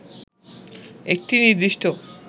একটি নির্দিষ্ট